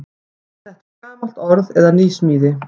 Er þetta gamalt orð eða nýsmíði?